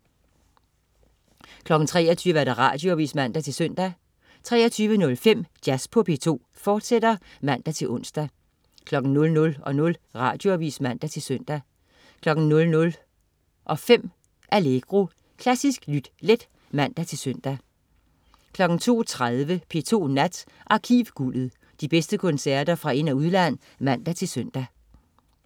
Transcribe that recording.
23.00 Radioavis (man-søn) 23.05 Jazz på P2, fortsat (man-ons) 00.00 Radioavis (man-søn) 00.05 Allegro. Klassisk lyt let (man-søn) 02.30 P2 Nat. Arkivguldet. De bedste koncerter fra ind- og udland (man-søn)